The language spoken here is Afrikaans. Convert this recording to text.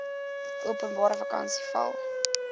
openbare vakansiedag val